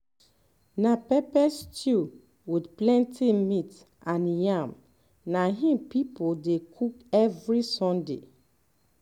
na pepper stew with plenty meat and yam na im people dey cook every sunday